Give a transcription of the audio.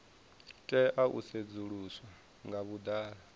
tea u sedzuluswa nga vhuḓalo